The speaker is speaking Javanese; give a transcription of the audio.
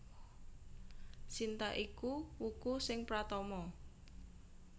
Sinta iku wuku sing pratama